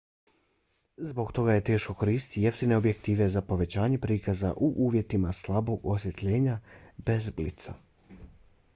zbog toga je teško koristiti jeftine objektive za povećanje prikaza u uvjetima slabog osvjetljenja bez blica